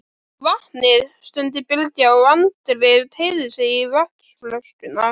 Vatnið, stundi Bylgja og Andri teygði sig í vatnskönnuna.